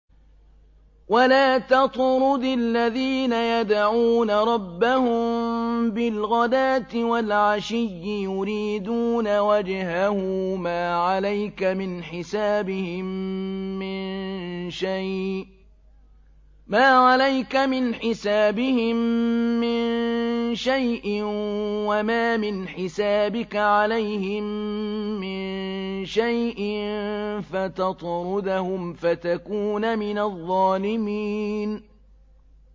وَلَا تَطْرُدِ الَّذِينَ يَدْعُونَ رَبَّهُم بِالْغَدَاةِ وَالْعَشِيِّ يُرِيدُونَ وَجْهَهُ ۖ مَا عَلَيْكَ مِنْ حِسَابِهِم مِّن شَيْءٍ وَمَا مِنْ حِسَابِكَ عَلَيْهِم مِّن شَيْءٍ فَتَطْرُدَهُمْ فَتَكُونَ مِنَ الظَّالِمِينَ